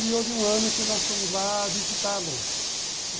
E houve um ano que nós fomos lá visitá-lo.